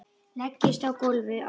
Leggst á gólfið á bakið.